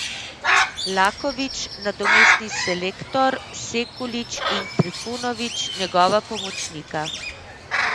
Lakovič nadomestni selektor, Sekulič in Trifunovič njegova pomočnika?